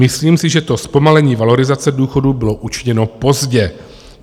Myslím si, že to zpomalení valorizace důchodů bylo učiněno pozdě.